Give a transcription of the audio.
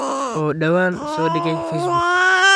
oo dhawaan soo dhigay facebook